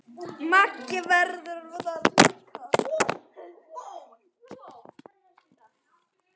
Maggi verður það líka.